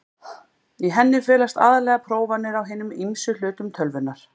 Í henni felast aðallega prófanir á hinum ýmsu hlutum tölvunnar.